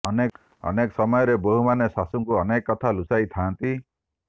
ଅନେକ ସମୟରେ ବୋହୂମାନେ ଶାଶୁଙ୍କୁ ଅନେକ କଥା ଲୁଚାଇ ଥାଆନ୍ତି